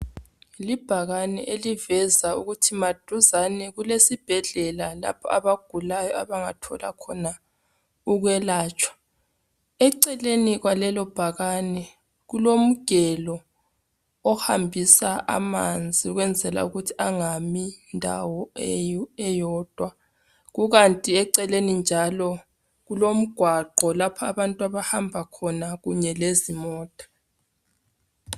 Libhakane eliveza ukuthi maduzane kule sibhedlela lapho abagulayo abangathola khona ukwelatshwa .Eceleni kwalelo bhakane kulomgelo ohambisa amanzi ukwenzela ukuthi angami kundawo eyodwa .Kukanti eceleni njalo kulomgwaqo lapho abantu abahamba khona kunye lezimota.